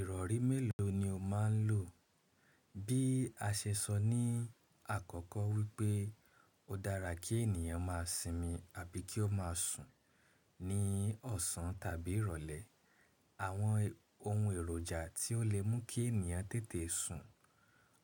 Ìrọ̀rí mélòó ni o máa ń lò? Bí a ṣe sọ ní àkọ́kọ́ wípé ó dára kí ènìyàn má a sinmi àbí kí ó má a sùn ní ọ̀sán tàbí ìrọ̀lẹ́. Àwọn ohun èròjà tí ó lè mú kí ènìyàn tètè sùn,